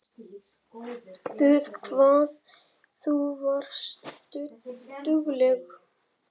Guð hvað þú varst dugleg.